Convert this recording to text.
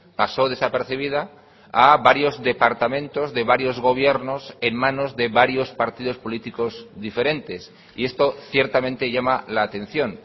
pasó desapercibida a varios departamentos de varios gobiernos en manos de varios partidos políticos diferentes y esto ciertamente llama la atención